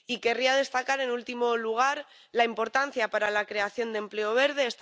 Y querría destacar, en último lugar, la importancia para la creación de empleo verde.